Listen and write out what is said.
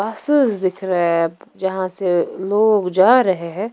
दिख रहे हैं यहाँ से लोग जा रहे हैं।